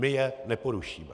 My je neporušíme.